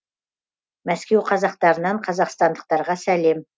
мәскеу қазақтарынан қазақстандықтарға сәлем